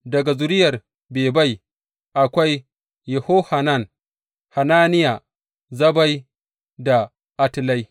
Daga zuriyar Bebai, akwai Yehohanan, Hananiya, Zabbai, da Atlai.